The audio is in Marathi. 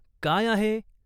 "काय आहे ?